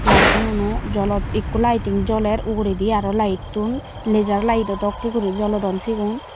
laytinguno jolot ikko laiting joler uguredi aro layettun lejar layedo dokken guri jolodon sigun.